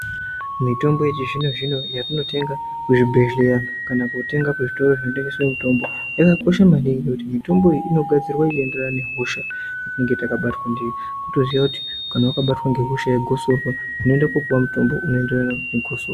Mitombo yechizvino-zvino yetinotenga muzvibhedhleya kana kotenge kuzvitoro zvinotengese mitombo. Yakakosha maningi ngekuti mitombo inogadzirwa inoenderana nehosha yatinenge tabatwa ndiyo. Votoziya kuti kana vakabatwa ngehosha yegosorwa inoenda kopuva mutombo unoenderana negosorwa.